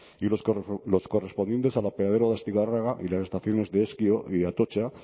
y los correspondientes al apeadero de astigarraga y las estaciones de ezkio y de atotxa